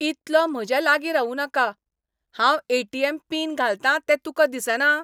इतलो म्हज्या लागीं रावूं नाका! हांव ए. टी. एम. पिन घालतां तें तुका दिसना?